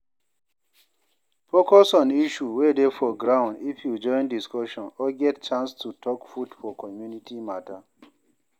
Focus on issue wey dey for ground if you join discussion or get chance to talk put for community matter